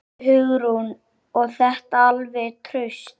Hugrún: Og þetta alveg traust?